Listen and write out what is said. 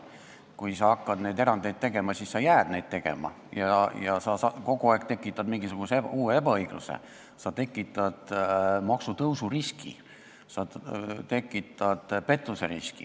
Kui sa hakkad erandeid tegema, siis sa jäädki neid tegema ja sa tekitad kogu aeg mingisugust uut ebaõiglust, sa tekitad maksutõusu riski, sa tekitad pettuseriski.